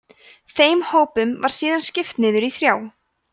þeim hópum var síðan skipt niður í þrjá